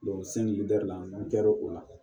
n kɛr'o la